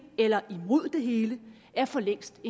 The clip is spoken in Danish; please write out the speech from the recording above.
eller imod det hele er for længst